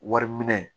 Wari minɛ